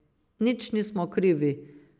Nič nismo krivi.